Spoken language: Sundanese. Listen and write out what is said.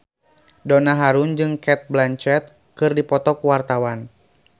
Donna Harun jeung Cate Blanchett keur dipoto ku wartawan